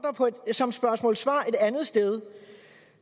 der som spørgsmål og svar et andet sted